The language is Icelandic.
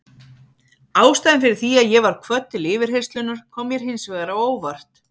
Ástæðan fyrir því að ég var kvödd til yfirheyrslunnar kom mér hins vegar á óvart.